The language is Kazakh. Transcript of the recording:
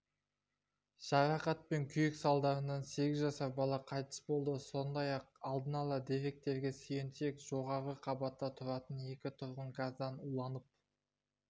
жарақат пен күйік салдарынан сегіз жасар бала қайтыс болды сондай-ақ алдын ала деректерге сүйенсек жоғарғы қабатта тұратын екі тұрғын газдан уланып